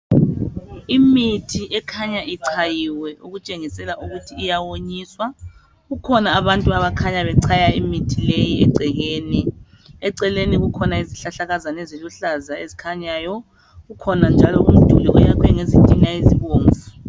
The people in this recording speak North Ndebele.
Imithi ekhanya ichayiwe okutshengisela ukuthi iyawonyiswa kukhona abantu abakhanya bechaya imithi leyi egcekeni eceleni kukhona izihlahlakazana eziluhlaza ezikhanyayo kukhona njalo umduli oyakhwe ngezitina ezibomvu